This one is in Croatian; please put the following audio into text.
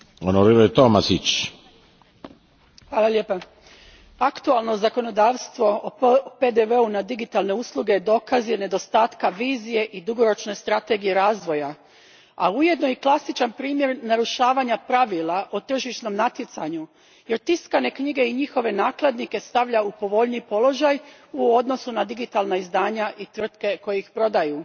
Gospodine predsjedniče, aktualno zakonodavstvo o PDV u na digitalne usluge dokaz je nedostatka vizije i dugoročne strategije razvoja, a ujedno i klasičan primjer narušavanja pravila o tržišnom natjecanju jer tiskane knjige i njihove nakladnike stavlja u povoljniji položaj u odnosu na digitalna izdanja i tvrtke koje ih prodaju.